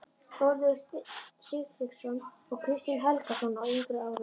Þórður Sigtryggsson og Kristján Helgason á yngri árum.